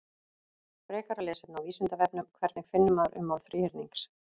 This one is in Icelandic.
Frekara lesefni á Vísindavefnum: Hvernig finnur maður ummál þríhyrnings?